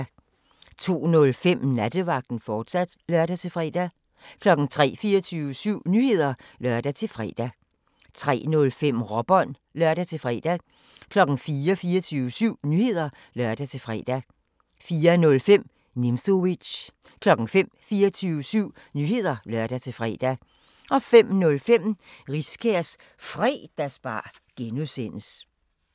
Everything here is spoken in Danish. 02:05: Nattevagten, fortsat (lør-fre) 03:00: 24syv Nyheder (lør-fre) 03:05: Råbånd (lør-fre) 04:00: 24syv Nyheder (lør-fre) 04:05: Nimzowitsch 05:00: 24syv Nyheder (lør-fre) 05:05: Riskærs Fredagsbar (G)